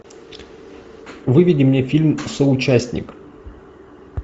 выведи мне фильм соучастник